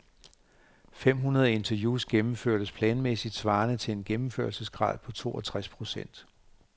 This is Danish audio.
Fem hundrede interviews gennemførtes planmæssigt, svarende til en gennemførelsesgrad på toogtreds procent.